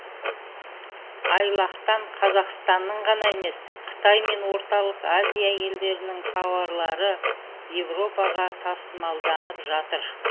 айлақтан қазақстанның ғана емес қытай мен орталық азия елдерінің тауарлары еуропаға тасымалданып жатыр